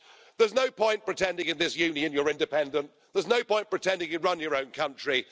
There's no point pretending in this union that you're independent, there's no point pretending you run your own country.